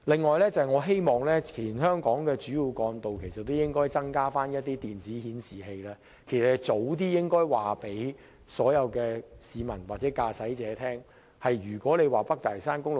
我亦希望全香港的主要幹道可增設電子顯示器，以便盡早向市民或駕駛者告知交通狀況。